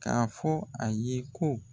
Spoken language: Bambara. Ka fɔ a ye ko